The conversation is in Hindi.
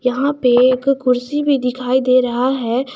यहां पे एक कुर्सी भी दिखाई दे रहा है।